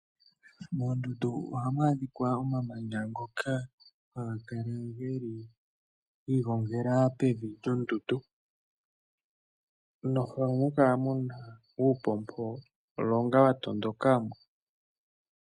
Moondundu ohamu adhika omamanta ngoka ha ga kala giiginfela pevi lyondundu, noha mu kala uupompolonga wa tondoka mo.